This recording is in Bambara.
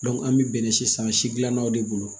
an bɛ bɛnɛ si san si gilannaw de bolo